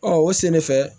Ɔ o sen de fɛ